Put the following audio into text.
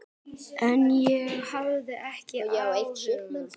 En ég hafði ekki áhuga.